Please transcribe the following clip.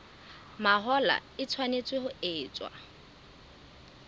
mahola e tshwanetse ho etswa